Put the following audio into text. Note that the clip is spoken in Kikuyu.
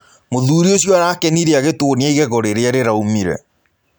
Mũthũrĩ ũcĩo arakenĩre agĩtũonĩa ĩgego rĩrĩa rĩraũmĩre